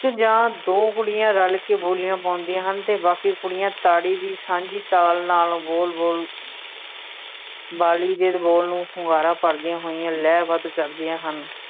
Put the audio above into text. ਜਾਂ ਦੋ ਕੁੜੀਆਂ ਰਲ ਕੇ ਬੋਲੀਆਂ ਪਾਉਂਦੀਆਂ ਹਨ ਅਤੇ ਬਾਕੀ ਕੁੜੀਆਂ ਤਾੜੀ ਦੀ ਸਾਂਝੀ ਤਾਲ ਨਾਲ ਬੋਲ ਬੋਲ ਵਾਲੀ ਦੇ ਬੋਲ ਨੂੰ ਹੁੰਗਾਰਾ ਭਰਦੀਆਂ ਹੋਈਆਂ ਲੈ ਬੱਧ ਕਰਦੀਆ ਹਨ,